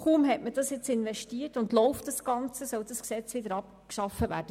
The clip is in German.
Kaum wurde diese Investition getätigt und das Ganze läuft, soll das Gesetz wieder abgeschafft werden.